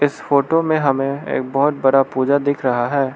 इस फोटो में हमें एक बहोत बड़ा पूजा दिख रहा है।